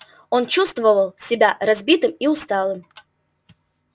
он чувствовал себя разбитым и усталым